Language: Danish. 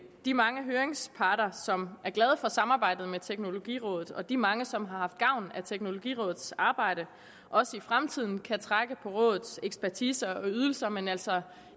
de mange høringsparter som er glade for samarbejdet med teknologirådet og de mange som har haft gavn af teknologirådets arbejde også i fremtiden kan trække på rådets ekspertise og ydelser men altså